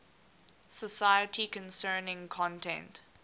society concerning content